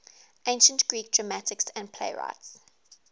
ancient greek dramatists and playwrights